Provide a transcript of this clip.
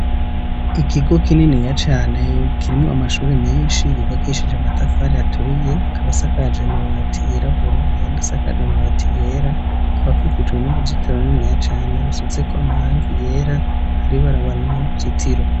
Ikigo kininiya cane, kirimwo amashuri menshi yubakishije amatafari aturiye, akaba asakaje amabati yirabura ayandi asakaje amabati yera, akaba akikijwe n'uruzitiro runiniya cane rusizeko amarangi yera, hariho ibarabara inyuma y'uruzitiro.